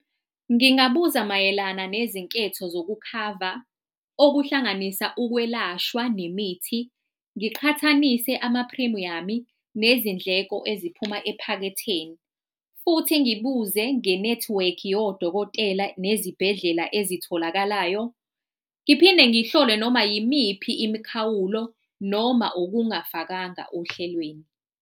Ngingabuza mayelana nezinketho zokukhava okuhlanganisa ukwelashwa nemithi, ngiqhathanise ama-premium-i nezindleko eziphuma ephaketheni. Futhi ngibuze nge-network yodokotela nezibhedlela ezitholakalayo. Ngiphinde ngihlole noma yimiphi imikhawulo noma okungafakanga ohlelweni.